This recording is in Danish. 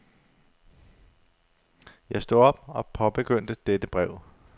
Jeg stod op og påbegyndte dette brev.